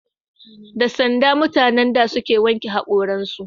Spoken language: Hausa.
Da sanda mutanen da suka wanke hakoran su